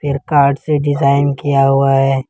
Card से design किया हुआ है।